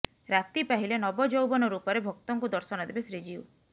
ରାତି ପାହିଲେ ନବଯୌବନ ରୂପରେ ଭକ୍ତଙ୍କୁ ଦର୍ଶନ ଦେବେ ଶ୍ରୀଜିଉ